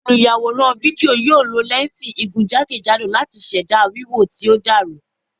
Olùyàwòrán fídíò yóò lo lẹ́ǹsì igun jákèjádò láti ṣẹ̀dá wíwò tí ó dàrú.